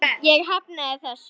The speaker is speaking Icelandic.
Ég hafnaði þessu.